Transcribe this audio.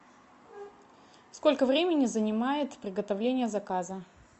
сколько времени занимает приготовление заказа